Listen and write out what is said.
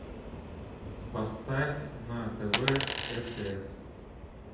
поставь на тв стс